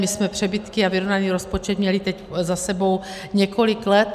My jsme přebytky a vyrovnaný rozpočet měli teď za sebou několik let.